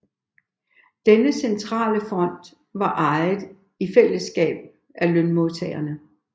Denne centrale fond var ejet i fællesskab af lønmodtagerne